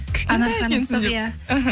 кішкентай екенсіз деп иә іхі